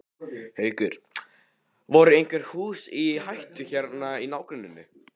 Haukur: Voru einhver hús í hættu hérna í nágrenninu?